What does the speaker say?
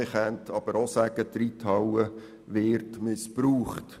Man könnte aber auch sagen, die Reithalle wird dafür missbraucht.